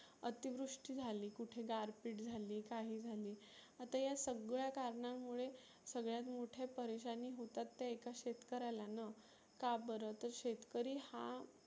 अतिवृष्टी झाली, कुठे गारपिट झाली काही झाली. आता या सगळ्या कारणां मुळे सगळ्यात मोठ्या परेशानी होतात ते एका शेतकऱ्याला ना. का बरं तर शेतकरी हा